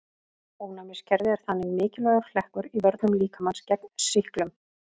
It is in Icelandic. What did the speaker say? Ónæmiskerfið er þannig mikilvægur hlekkur í vörnum líkamans gegn sýklum.